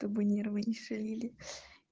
чтобы нервы не шалили